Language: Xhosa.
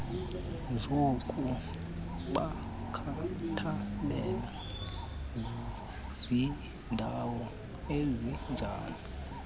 zokubakhathalela zindawo ezinjani